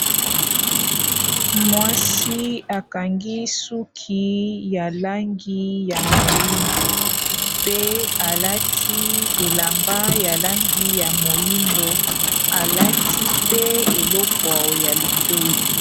Mwasi akangi suki ya langi ya moyindo, mpe alati elamba ya langi ya moyindo, alati pe eleko ya litoyi.